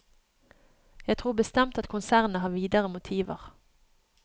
Jeg tror bestemt at konsernet har videre motiver.